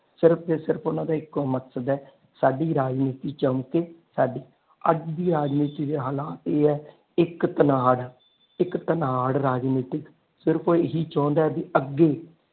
ਸਿਰਫ ਤੇ ਸਿਰਫ ਓਹਨਾ ਦਾ ਇਕੋ ਮਕਸਦ ਹੈ ਸਾਡੀ ਰਾਜਨੀਤੀ ਚਮਕੇ ਸਾਡੀ ਅੱਜ ਦੀ ਰਾਜਨੀਤੀ ਦੇ ਹਾਲਾਤ ਇਹ ਹੈ ਇਕ ਆ ਇਕ ਰਾਜਨੀਤਿਕ ਸਿਰਫ ਉਹ ਇਹੋ ਚਾਉਂਦਾ ਵੀ ਅੱਗੇ।